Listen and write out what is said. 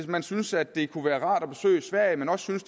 man synes at det kunne være rart at besøge sverige men også synes